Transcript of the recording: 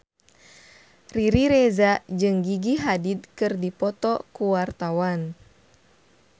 Riri Reza jeung Gigi Hadid keur dipoto ku wartawan